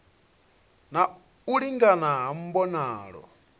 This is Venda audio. na u lingana ha mbonalo